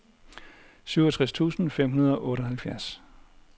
syvogtres tusind fem hundrede og otteoghalvfjerds